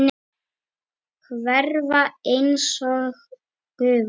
Hverfa einsog gufa.